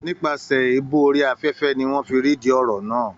Nípasẹ̀ Èébú orí afẹ́fẹ́ ni wọ́n fi rí ìdí ọ̀rọ̀ náà